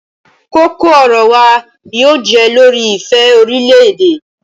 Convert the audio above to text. Koko-ọrọ wa yóò jẹ lori ifẹ orilẹ-ede